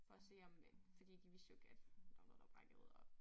For at se om fordi de vidste jo ikke at der var noget der var brækket og